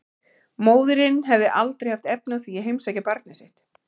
Móðirin hefði aldrei haft efni á því að heimsækja barnið sitt.